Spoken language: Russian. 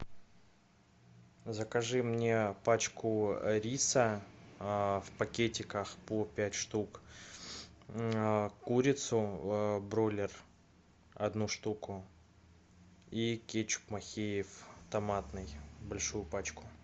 закажи мне пачку риса в пакетиках по пять штук курицу бройлер одну штуку и кетчуп махеев томатный большую пачку